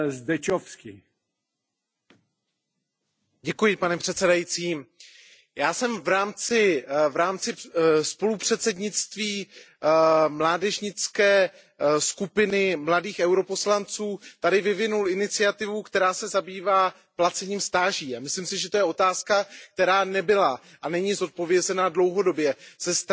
Pane předsedající, já jsem v rámci spolupředsednictví mládežnické skupiny, mladých europoslanců tady vyvinul iniciativu, která se zabývá placením stáží, a myslím si, že to je otázka, která nebyla a není zodpovězena dlouhodobě ze strany vedení Evropského parlamentu ani evropských institucí.